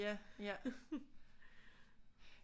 Ja ja